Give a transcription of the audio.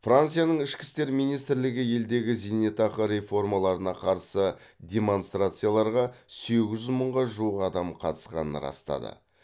францияның ішкі істер министрлігі елдегі зейнетақы реформаларына қарсы демонстрацияларға сегіз жүз мыңға жуық адам қатысқанын растады